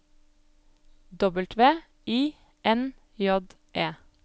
W I N J E